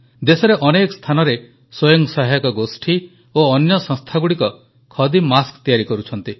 ଦେଶରେ ଅନେକ ସ୍ଥାନରେ ସ୍ୱୟଂ ସହାୟକ ଗୋଷ୍ଠୀ ଓ ଅନ୍ୟ ସଂସ୍ଥାଗୁଡ଼ିକ ଖଦୀ ମାସ୍କ ତିଆରି କରୁଛନ୍ତି